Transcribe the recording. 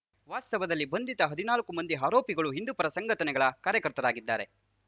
ವಾಸ್ತವದಲ್ಲಿ ಬಂಧಿತ ಹದಿನಾಲ್ಕು ಮಂದಿ ಆರೋಪಿಗಳು ಹಿಂದುಪರ ಸಂಘಟನೆಗಳ ಕಾರ್ಯಕರ್ತರಾಗಿದ್ದಾರೆ